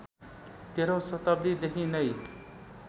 तेह्रौँ शताब्दीदेखि नैँ